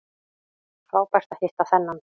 Frábært að hitta þennan